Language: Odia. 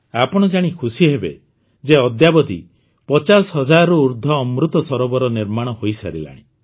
ଆପଣ ଜାଣି ଖୁସିହେବେ ଯେ ଅଦ୍ୟାବଧି ପଚାଶ ହଜାରରୁ ଊର୍ଦ୍ଧ୍ୱ ଅମୃତ ସରୋବର ନିର୍ମାଣ ହୋଇସାରିଲାଣି